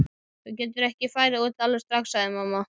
Þú getur ekki farið út alveg strax, sagði mamma.